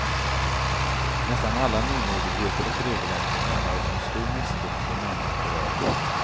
Nästan alla nymodigheter och regeländringar möts med stor misstro från de närmast berörda.